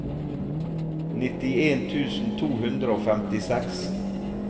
nittien tusen to hundre og femtiseks